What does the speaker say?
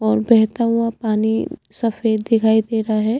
और बहता हुआ पानी सफ़ेद दिखाई दे रहा है।